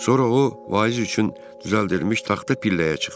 Sonra o vaiz üçün düzəldirilmiş taxta pilləyə çıxdı.